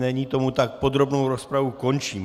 Není tomu tak, podrobnou rozpravu končím.